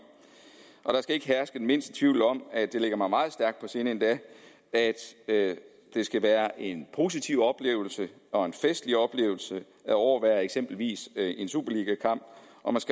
og der skal ikke herske den mindste tvivl om at det ligger mig endog meget stærkt på sinde at det skal være en positiv oplevelse og en festlig oplevelse at overvære eksempelvis en superligakamp og